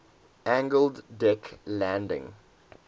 angled deck landing